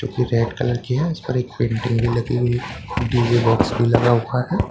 Red colour की है उस पर एक पेंटिंग भी लगी हुई है एक डी_जे बॉक्स भी लगा हुआ है।